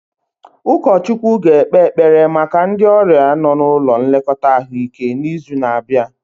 Ụkọchukwu ga-ekpe ekpere maka ndị ọrịa nọ n'ụlọ nlekọta ahụike n'izu na-abịa